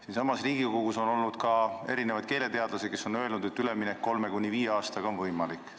Siinsamas Riigikogus on esinenud ka keeleteadlasi, kes on öelnud, et üleminek 3–5 aastaga on võimalik.